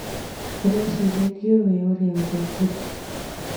ũreciria ndiũĩ ũrĩa ũrekire